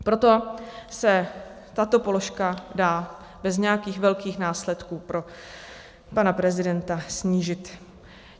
Proto se tato položka dá bez nějakých velkých následků pro pana prezidenta snížit.